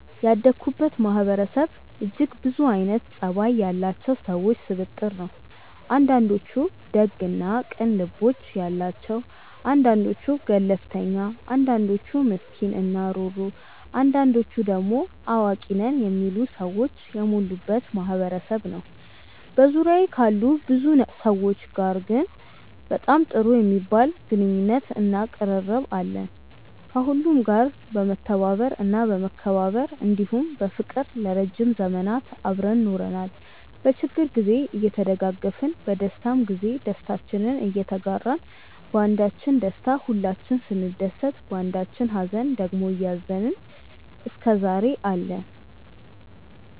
ያደኩበት ማህበረሰብ እጅግ ብዙ አይነት ፀባይ ያላቸው ሰዎች ስብጥር ነው። አንዳንዶቹ ደግ እና ቅን ልቦና ያላቸው አንዳንዶቹ ገለፍተኛ አንዳንዶቹ ምስኪን እና ሩህሩህ አንዳንዶቹ ደሞ አዋቂ ነን የሚሉ ሰዎች የሞሉበት ማህበረሰብ ነበር። በዙሪያዬ ካሉ ብዙ ሰዎች ጋር ግን በጣም ጥሩ የሚባል ግንኙነት እና ቅርርብ አለን። ከሁሉም ጋር በመተባበር እና በመከባበር እንዲሁም በፍቅር ለረዥም ዘመናት አብረን ኖረናል። በችግር ግዜ እየተደጋገፍን በደስታም ግዜ ደስታችንን እየተጋራን ባንዳችን ደስታ ሁላችንም ስንደሰት ባንዳችኝ ሃዘን ደግሞ እያዘንን እስከዛሬ አለን።